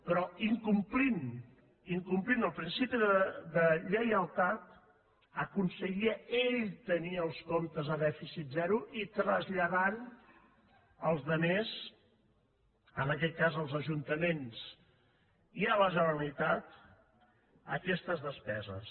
però incomplint incomplint el principi de lleialtat aconseguia ell tenir els comptes a dèficit zero i traslladava als altres en aquest cas als ajuntaments i a la generalitat aquestes despeses